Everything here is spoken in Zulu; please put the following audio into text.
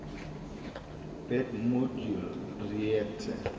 bed modula reactor